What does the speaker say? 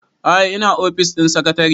a'a ina ofis ɗin sakatare